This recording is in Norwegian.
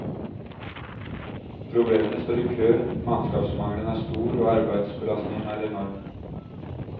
Problemene står i kø, mannskapsmangelen er stor og arbeidsbelastningen er enorm.